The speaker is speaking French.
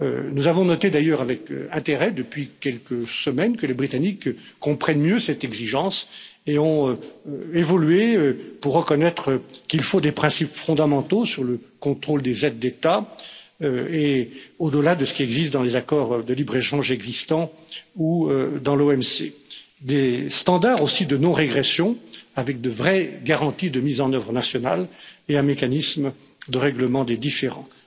Nous avons d'ailleurs noté avec intérêt, depuis quelques semaines, que les britanniques comprennent mieux cette exigence et ont évolué pour reconnaître qu'il faut des principes fondamentaux sur le contrôle des aides d'État, au delà de ce qui existe dans les accords de libre échange existants ou dans l'OMC, et aussi des standards de non régression avec de vraies garanties de mise en œuvre nationale et un mécanisme de règlement des différends.